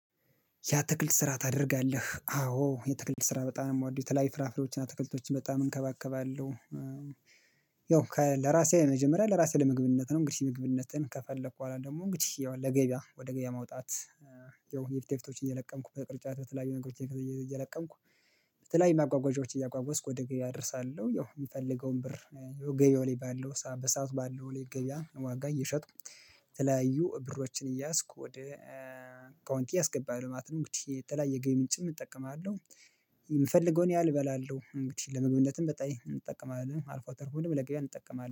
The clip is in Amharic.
የአትክልት ስራ ታደርጋለህ? አዎ የአትክልት ስራ በጣም ነው የምወደው። የተለያዩ ፍራፍሬዎችን አትክልቶችን በጣም እንከባከባለሁ። ያው ለራሴ መጀመሪያ ለራሴ ለመግብነት ነው። እንግዲህ መግብነትን ከፈለኩ በኋላ ደግሞ እንግዲህ ያው ለገበያ ወደ ገበያ ማውጣት። ይኸው የፊት የፊቶችን እየለቀምኩ በቅርጫት በተለያዩ ነገሮችን እየለቀምኩ በተለያዩ ማጓጓዣዎችን እያጓጓዝኩ ወደ ገበያ አደርሳለሁ ያው የምፈልገውን ብር ገበያው ላይ ባለው በሰአቱ ባለው ላይ ገበያ ዋጋ እየሸጥኩ የተለያዩ ብሮችን እየያዝኩ ወደ አካውንቴ አስገባለሁ ማለት ነው። እንግዲህ የተለያየ ገቢ ምንጭም እጠቀማለሁ የምፈልገውን ያህል እበላለሁ። እንግዲህ ለመግበዝነትም በጣም እጠቀማለሁ አልፎ ተርፎ ደግሞ ለገበያ እንጠቀማለን።